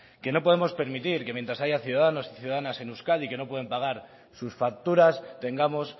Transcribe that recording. que no podemos permitir que mientras haya ciudadanos y ciudadanas en euskadi que no pueden pagar sus facturas tengamos